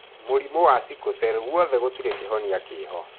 Mũrimũ wa Sickle cell guothe gũtirĩ kĩhonia kĩho.